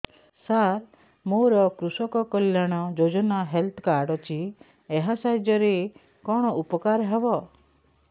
ସାର ମୋର କୃଷକ କଲ୍ୟାଣ ଯୋଜନା ହେଲ୍ଥ କାର୍ଡ ଅଛି ଏହା ସାହାଯ୍ୟ ରେ କଣ ଉପକାର ହବ